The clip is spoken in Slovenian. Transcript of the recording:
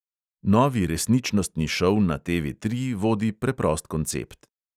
Novi resničnostni šov na TV tri vodi preprost koncept.